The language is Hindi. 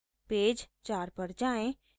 पेज 4 पर जाएँ